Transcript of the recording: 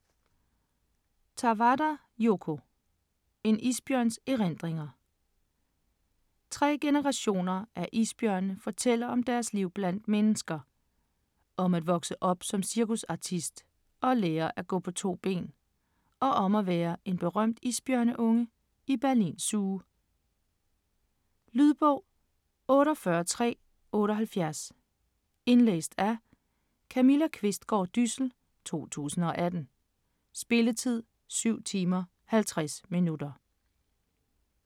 Tawada, Yoko: En isbjørns erindringer Tre generationer af isbjørne fortæller om deres liv blandt mennesker. Om at vokse op som cirkusartist og lære at gå på to ben, og om at være en berømt isbjørneunge i Berlin Zoo. Lydbog 48378 Indlæst af Camilla Qvistgaard Dyssel, 2018. Spilletid: 7 timer, 50 minutter.